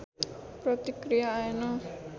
प्रतिक्रिया आएन